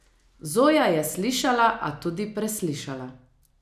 Zoja je slišala, a tudi preslišala.